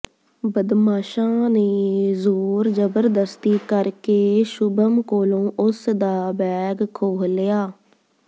ਬਦਮਾਸ਼ਾਂ ਨੇ ਜ਼ੋਰ ਜਬਰਦਸਤੀ ਕਰਕੇ ਸ਼ੁਭਮ ਕੋਲੋਂ ਉਸ ਦਾ ਬੈਗ ਖੋਹ ਲਿਆ